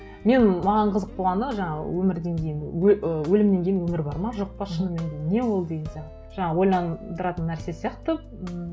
мен маған қызық болғаны жаңағы өмірден кейін ы өлімнен кейін өмір бар ма жоқ па шынымен де не ол деген сияқты жаңа ойландыратын нәрсе сияқты ммм